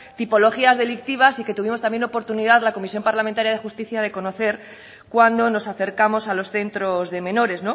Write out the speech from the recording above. tipologías delictivas y que tuvimos también oportunidad en la comisión parlamentaria de justicia de conocer cuando nos acercamos a los centros de menores